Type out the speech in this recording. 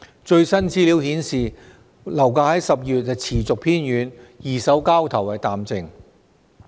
最新資料顯示，樓價在10月持續偏軟，二手交投淡靜。